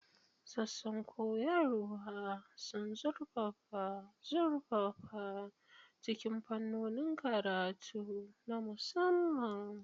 Sassan koyarwa sun zurfafa zurfafa cikin fannonin karatu na musamman.